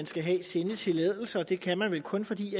skal have sendetilladelser og det kan man vel kun fordi